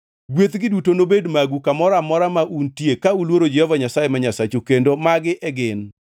Gwethgi duto nobed magu kamoro amora ma untie ka uluoro Jehova Nyasaye ma Nyasachu, kendo magi e gin: